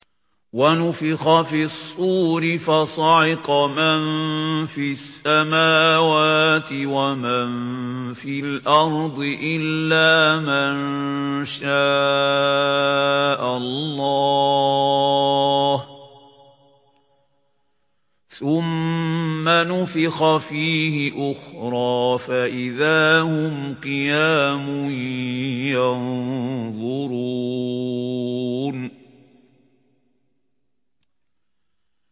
وَنُفِخَ فِي الصُّورِ فَصَعِقَ مَن فِي السَّمَاوَاتِ وَمَن فِي الْأَرْضِ إِلَّا مَن شَاءَ اللَّهُ ۖ ثُمَّ نُفِخَ فِيهِ أُخْرَىٰ فَإِذَا هُمْ قِيَامٌ يَنظُرُونَ